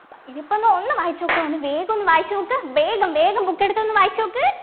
ഇതിപ്പോ ഒന്ന് ഒന്ന് വായിച്ചു നോക്ക് ഒന്ന് വേഗം ഒന്ന് വായിച്ചു നോക്ക് വേഗം വേഗം book എടുത്ത് ഒന്ന് വായിച്ചു നോക്ക്